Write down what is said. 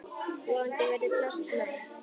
Vonandi verður pláss næst.